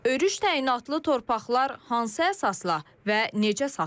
Örüş təyinatlı torpaqlar hansı əsasla və necə satılıb?